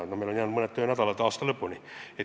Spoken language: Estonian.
Meil aga on varuks vaid mõned töönädalad aasta lõpuni.